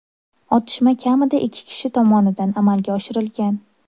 Otishma kamida ikki kishi tomonidan amalga oshirilgan.